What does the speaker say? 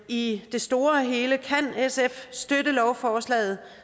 i det store hele kan sf støtte lovforslaget